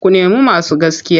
Ku nemo masu gaskiya!